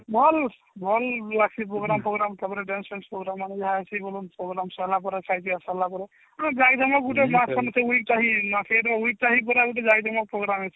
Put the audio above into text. ଭଲ ଭଲ ଆସି program ଫୋଗ୍ରାମ ତାପରେ dance ଫ୍ୟାନ୍ସ program ମାନେ ଯୋଉ ଆମର ଖିଅ ପିଆ ସାରିଲା ପରେ program